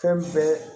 Fɛn bɛɛ